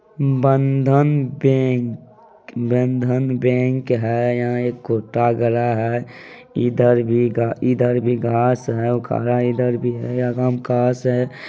बंधन bank Bandhan bank है यहा एक खूंटा गड़ा है इधर भी घा-इधर भी घास है ओखरा इधर भी है अगा में घास है।